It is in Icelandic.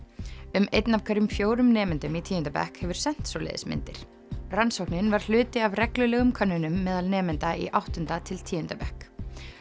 um einn af hverjum fjórum nemendum í tíunda bekk hefur sent svoleiðis myndir rannsóknin var hluti af reglulegum könnunum meðal nemenda í áttunda til tíunda bekk